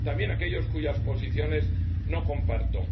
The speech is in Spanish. También a aquellos cuyas posiciones no comparto.